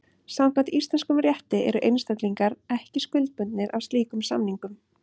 Samkvæmt íslenskum rétti eru einstaklingar ekki skuldbundnir af slíkum samningum.